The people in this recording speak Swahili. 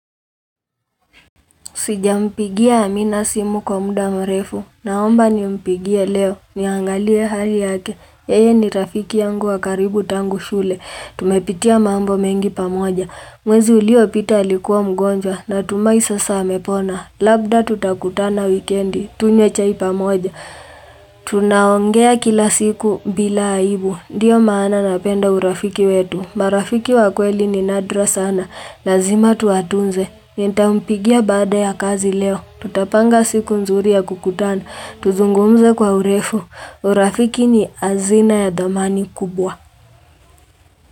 Sijampigia amina simu kwa muda mrefu. Naomba nimpigie leo. Niangalie hali yake. Yeye ni rafiki yangu wa karibu tangu shule. Tumepitia mambo mengi pamoja. Mwezi uliopita alikuwa mgonjwa natumai sasa amepona. Labda tutakutana wikendi. Tunywe chai pamoja. Tunaongea kila siku bila aibu ndio maana napenda urafiki wetu marafiki wa kweli ni nadra sana Lazima tuwatunze Nitampigia baada ya kazi leo Tutapanga siku nzuri ya kukutana Tuzungumze kwa urefu urafiki ni hazina ya dhamani kubwa.